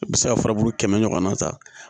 I bɛ se ka furabulu kɛmɛ ɲɔgɔnna ta